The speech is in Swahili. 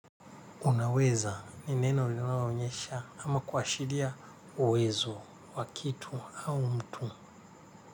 Unaweza ni neno lionawaonyesha ama kwashiria uwezo, wakitu au mtu.